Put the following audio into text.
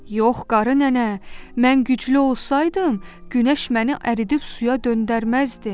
Yox qarı nənə, mən güclü olsaydım, Günəş məni əridib suya döndərməzdi.